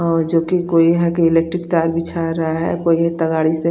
और जो की गयी है गयी इलेक्ट्रिक तार बिछा रहा है --